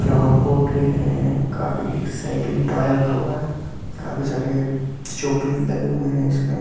flower pot दिख रहे है काफी एक साइकल टायर रखा हुआ है काफी सारे शॉ पीस लगे हुए हैं उसमें अ--